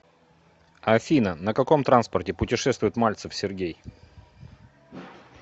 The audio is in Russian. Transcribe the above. афина на каком транспорте путешествует мальцев сергей